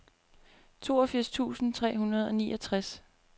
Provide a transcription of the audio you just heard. toogfirs tusind tre hundrede og niogtres